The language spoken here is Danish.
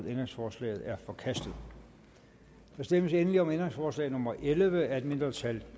ændringsforslaget er forkastet der stemmes endelig om ændringsforslag nummer elleve af et mindretal